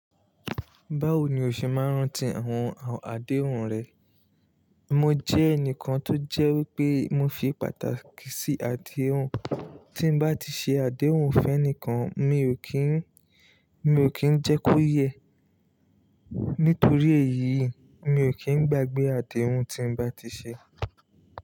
Báwo ni o ṣe máa ń rántí àwọn àdéhùn rẹ? Mo jẹ́ ẹnìkan tó jẹ́ wípé mo fi pàtàkì sí àdéhùn. Tí bá ti ṣe àdéhùn fún ẹni kan, mi ò kí ń, mi ò kí ń jẹ́ kó yẹ. Nítorí èyí, mi ò kí ń gbàgbé àdéhùn tí bá ti ṣe.